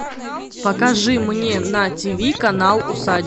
покажи мне на тиви канал усадьба